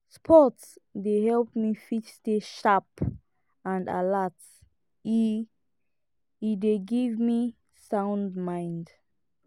sport dey help me fit stay sharp and alert e e dey give me sound mind